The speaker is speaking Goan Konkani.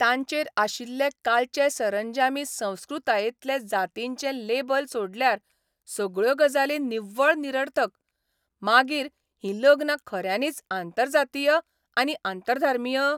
तांचेर आशिल्ले कालचे सरंजामी संस्कृतायेंतलें जातीचें लेबल सोडल्यार सगळ्यो गजाली निव्वळ निरर्थक, मागीर हीं लग्नां खऱ्यांनीच आंतरजातीय आनी आंतरधर्मीय?